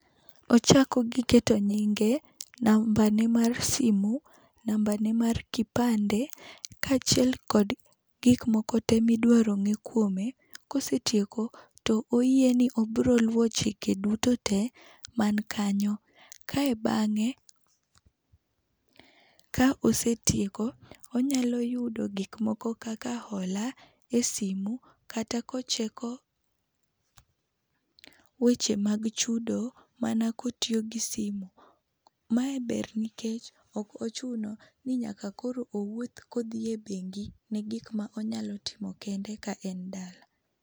ochako gi keto nyinge, namba ne mar simo, namba ne mar kipande, kaachiel kod gik moko tee mi iduaro ng'e kuome, kosetieko to oyie ni obiro luwo chike duto te ma ni kanyo. Kae bang'e kaosetieko, onyalo yudo gik moko kaka ola e simo kata ko cheko weche mag chudo mana ko otiyo gi simo. Ma e ber nikech ok ochuno ni nyaka koro owuoth ka odhi e bengi ne gik ma onyalo timo kende ka en dala.